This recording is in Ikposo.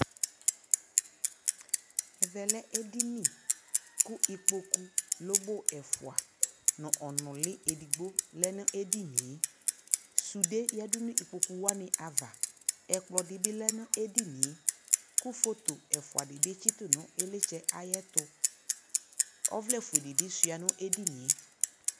ɛvɛ lɛ ɛdini kʋ ikpɔkʋ lɔbɔ ɛƒʋa nʋ ɔnʋli ɛdigbɔ lɛnʋ ɛdiniɛ, sʋdɛ yadʋnʋ ikpɔkʋ wani aɣa, ɛkplɔ dibi lɛnʋ ɛdiniɛ kʋ phɔtɔ ɛƒʋa dibi kyitʋ ilitsɛ ayɛtʋ, ʋvlɛ ƒʋɛ dibi sʋa nʋ ɛdiniɛ